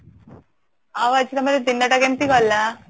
ଆଉ ଆଜି ତମର ଦିନଟା କେମିତି ଗଲା